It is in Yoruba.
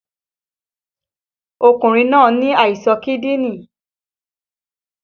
Ọkùnrin náà ní àìsàn kídìní